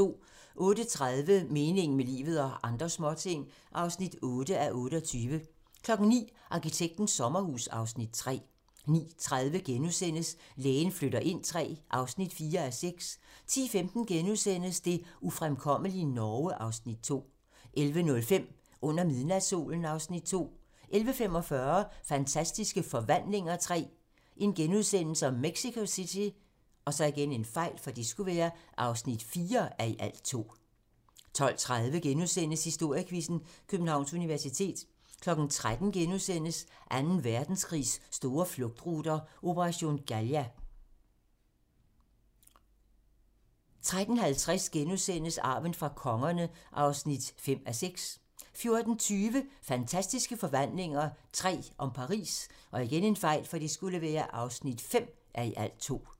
08:30: Meningen med livet – og andre småting (8:28) 09:00: Arkitektens sommerhus (Afs. 3) 09:30: Lægen flytter ind III (4:6)* 10:15: Det ufremkommelige Norge (Afs. 2)* 11:05: Under midnatssolen (Afs. 2) 11:45: Fantastiske Forvandlinger III - Mexico City (4:2)* 12:30: Historiequizzen: Københavns Universitet * 13:00: Anden Verdenskrigs store flugtruter - operation Galia * 13:50: Arven fra kongerne (5:6)* 14:20: Fantastiske Forvandlinger III - Paris (5:2)